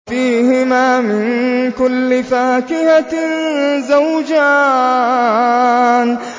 فِيهِمَا مِن كُلِّ فَاكِهَةٍ زَوْجَانِ